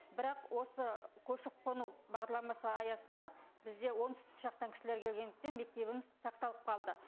бірақ осы көшіп қону бағламасы аясында бізде оңтүстік жақтан кісілер келгендіктен мектебіміз сақталып қалды